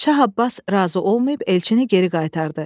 Şah Abbas razı olmayıb elçini geri qaytardı.